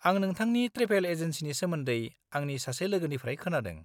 -आं नोंथांनि ट्रेभेल एजेनसिनि सोमोन्दै आंनि सासे लोगोनिफ्राय खोनादों।